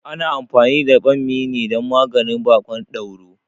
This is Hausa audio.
Ana anfani da ɓammi ne dan maganin baƙon dauro